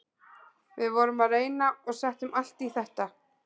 Við vorum að reyna og settum allt í þetta.